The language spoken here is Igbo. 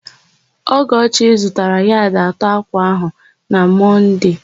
Ọgọchi zụtara yadị atọ ákwà áhụ̀ na Mọnde.